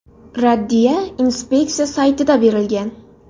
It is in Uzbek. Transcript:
Raddiya inspeksiya saytida berilgan .